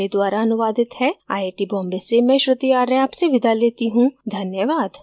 यह स्क्रिप्ट बिंदु पांडे द्वारा अनुवादित है आईआईटी बॉम्बे से मैं श्रुति आर्य आपसे विदा लेती हूँ धन्यवाद